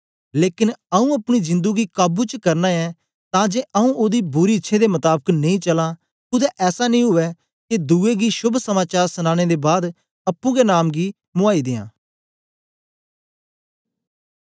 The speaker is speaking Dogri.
लेकन आऊँ अपनी जिंदु गी काबू च करना ऐं तां जे आऊँ ओदी बुरी इच्छ्यें दे मताबक नेई चलां कुदै ऐसा नेई उवै के दुए गी शोभ समाचार सनांने दे बाद अप्पुं गै नाम गी मुआई दियां